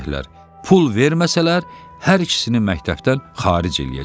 Pul verməsələr hər ikisini məktəbdən xaric eləyəcəklər.